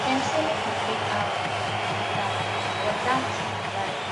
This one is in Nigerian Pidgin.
dem say make you fake am till you make am but dat na lie